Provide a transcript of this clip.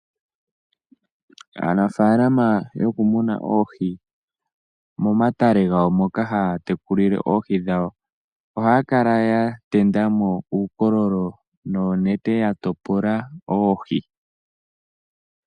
Aanafalama yokumuna oohii momatale ngawo moka haya tekulile oohii dhawo ohaya kala ya tenda mo uukololo noonete ya topola oohii.